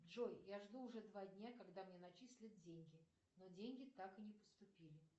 джой я жду уже два дня когда мне начислят деньги но деньги так и не поступили